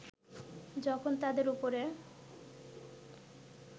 যখন তাদের উপরে